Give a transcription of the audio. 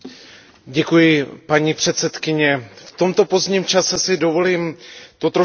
V tomto pozdním čase si dovolím to trošku zase zkrátit a odlehčit.